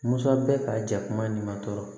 Musa bɛ ka jakuma ɲuman tɔ